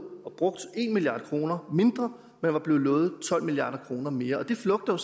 og brugt en milliard kroner mindre man var blevet lovet tolv milliard kroner mere og det flugter